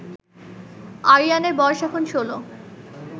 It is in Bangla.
আরিয়ানের বয়স এখন ১৬